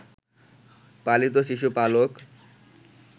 পালিত শিশু পালক